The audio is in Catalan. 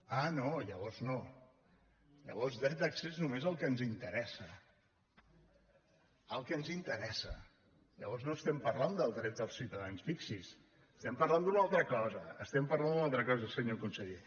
ah no llavors no llavors dret d’accés només el que ens interessa el que ens interessa llavors no estem parlant del dret dels ciutadans fixi’s estem parlant d’una altra cosa estem parlant d’una altra cosa senyor conseller